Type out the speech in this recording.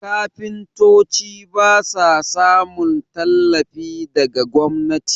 kafintoci ba sa samun tallafi daga gwamnati